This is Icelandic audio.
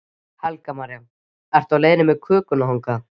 Helga María: Ertu á leiðinni með kökuna þangað?